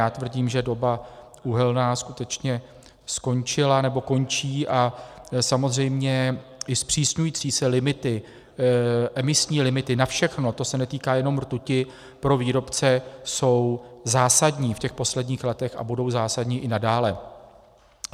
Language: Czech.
Já tvrdím, že doba uhelná skutečně skončila nebo končí, a samozřejmě i zpřísňující se limity, emisní limity na všechno, to se netýká jenom rtuti, pro výrobce jsou zásadní v těch posledních letech a budou zásadní i nadále.